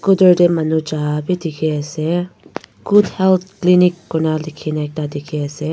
bitor tae manu jabi dikhiase good health clinic kurana likhi na ekta dikhiase.